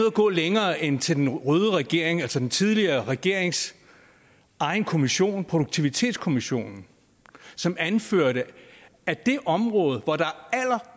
at gå længere end til den røde regerings altså den tidligere regerings egen kommission nemlig produktivitetskommissionen som anførte at det område